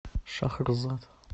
шахрзад